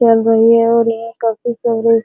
चल रही है और यह काफी सुंदर --